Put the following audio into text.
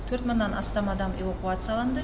төрт мыңнан астам адам эвакуацияланды